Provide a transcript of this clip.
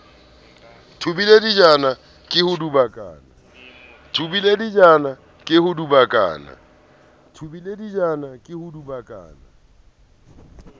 thubile dijana ke ho dubakana